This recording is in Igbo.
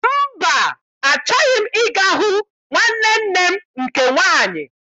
Mba, achọghị m ịga hụ nwanne nne m nke nwaanyị.